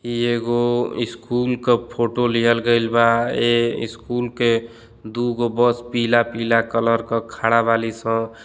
इ एगो स्कूल का फोटो लिअल गईल बा। ए स्कूल के दू गो बस पीला-पीला कलर का खड़ा बाली स।